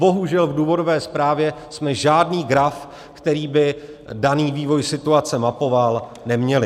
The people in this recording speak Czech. Bohužel v důvodové zprávě jsme žádný graf, který by daný vývoj situace mapoval, neměli.